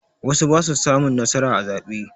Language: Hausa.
Wasu ba su samun nasara a zaɓe.